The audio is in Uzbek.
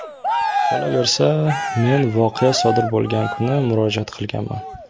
Qolaversa, men voqea sodir bo‘lgan kuni murojaat qilganman.